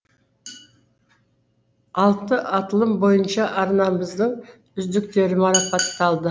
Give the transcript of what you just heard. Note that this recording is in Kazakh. алты аталым бойынша арнамыздың үздіктері марапатталды